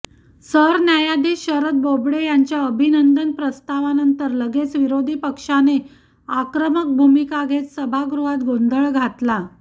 सरन्यायाधीश शरद बोबडे यांच्या अभिनंदन प्रस्तावानंतर लगेच विरोधीपक्षाने आक्रमक भूमिका घेत सभागृहात गोंधळ घातला